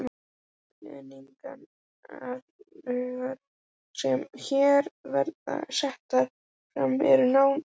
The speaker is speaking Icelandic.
Leiðbeiningarreglurnar, sem hér verða settar fram, eru nánar þessar